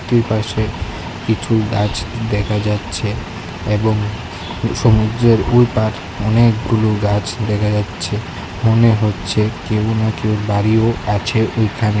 দুইপাশে কিছু গাছ দেখা যাচ্ছে এবং সমুদ্রের ওই পাড় অনেকগুলো গাছ দেখা যাচ্ছে মনে হচ্ছে কেউ না কেউ দাঁড়িয়েও আছে ওইখানে।